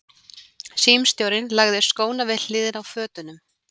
Símstjórinn lagði skóna við hliðina á fötunum.